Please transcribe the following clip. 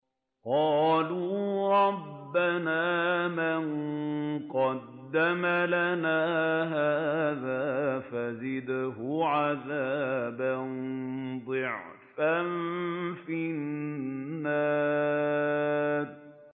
قَالُوا رَبَّنَا مَن قَدَّمَ لَنَا هَٰذَا فَزِدْهُ عَذَابًا ضِعْفًا فِي النَّارِ